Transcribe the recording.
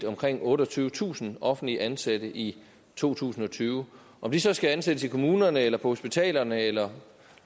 omkring otteogtyvetusind offentligt ansatte i to tusind og tyve om de så skal ansættes i kommunerne eller på hospitalerne eller